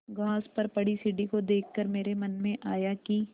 घास पर पड़ी सीढ़ी को देख कर मेरे मन में आया कि